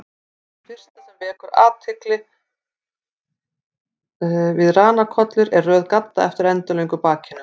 Það fyrsta sem vekur athygli við ranakollur er röð gadda eftir endilöngu bakinu.